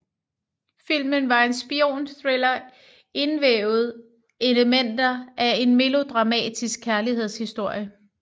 Filmen var en spionthriller indvævet elementer af en melodramatisk kærlighedshistorie